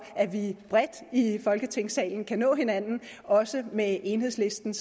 at vi bredt i folketingssalen kan nå hinanden også med enhedslisten